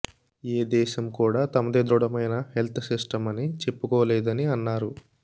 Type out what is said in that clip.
ఏ దేశం కూడా తమది దృఢమైన హెల్త్ సిస్టమ్ అని చెప్పుకోలేదని అన్నారు